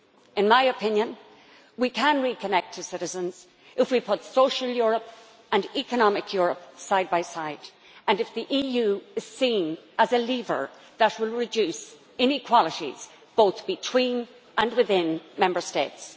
In my opinion, we can reconnect to citizens if we put Social Europe and Economic Europe side by side, and if the EU is seen as a lever that will reduce inequalities, both between and within Member States.